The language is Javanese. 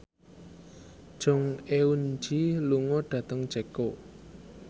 Jong Eun Ji lunga dhateng Ceko